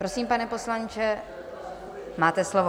Prosím, pane poslanče, máte slovo.